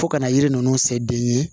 Fo ka na yiri ninnu se den ye